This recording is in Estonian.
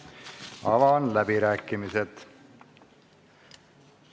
Avan läbirääkimised.